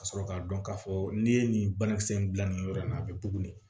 Ka sɔrɔ k'a dɔn k'a fɔ n'i ye nin banakisɛ in bila nin yɔrɔ in na a bɛ bugun de